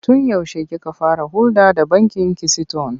Tun yaushe kika fara hulɗa da bankin Kisiton?